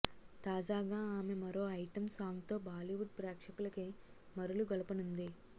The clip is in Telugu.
తాజాగా ఆమె మరో ఐటెమ్ సాంగ్తో బాలీవుడ్ ప్రేక్షకులకి మరులుగొలపనుంది